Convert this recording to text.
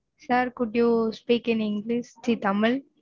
Sir, could you speak in English ச்சீ தமிழ்